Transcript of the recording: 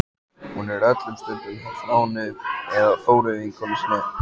Hún er öllum stundum hjá Þráni eða Þóru vinkonu sinni.